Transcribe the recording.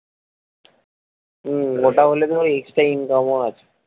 হম ওটা হলে তো extra income ও আছে